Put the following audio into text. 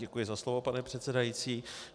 Děkuji za slovo, pane předsedající.